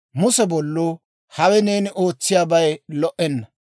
Muse bolluu, «Hawe neeni ootsiyaabay lo"enna.